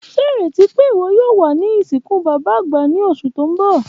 Ṣe ireti pe iwọ yoo wa ni isinku baba agba ni oṣu ti n bọ.